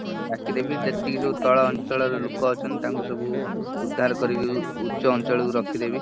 ଡାକିଦେବି ଯେତିକି ସବୁ ତଳ ଅଞ୍ଚଳ ର ଲୋକ ଅଛନ୍ତି ତାଙ୍କୁ ସବୁ ଉଦ୍ଧାର କରିକି ଉଚ୍ଚ ଅଞ୍ଚଳର କୁ ରଖିଦେବି।